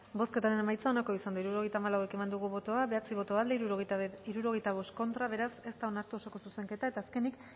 bozketaren emaitza onako izan da hirurogeita hamalau eman dugu bozka bederatzi boto aldekoa sesenta y cinco contra beraz ez da onartu osoko zuzenketa eta azkenik